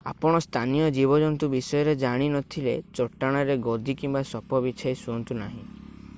ଆପଣ ସ୍ଥାନୀୟ ଜୀବଜନ୍ତୁ ବିଷୟରେ ଜାଣି ନଥିଲେ ଚଟାଣ ରେ ଗଦି କିମ୍ବା ସପ ବିଛାଇ ଶୁଅନ୍ତୁ ନାହିଁ